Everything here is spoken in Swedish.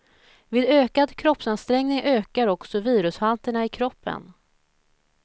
Vid ökad kroppsansträngning ökar också virushalterna i kroppen.